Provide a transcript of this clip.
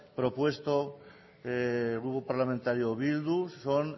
propuesto el grupo parlamentario bildu son